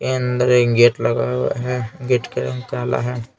अंदर एक गेट लगा हुआ है गेट का रंग काला है.